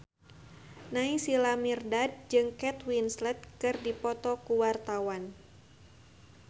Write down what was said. Naysila Mirdad jeung Kate Winslet keur dipoto ku wartawan